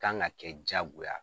kan ka kɛ jaagoya